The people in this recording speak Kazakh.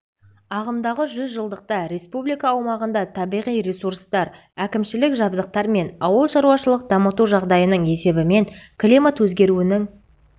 ағымдағы жүз жылдықта республика аумағында табиғи ресурстар әкімшілік жабдықтар мен ауыл шаруашылық дамыту жағдайының есебімен климат өзгеруінің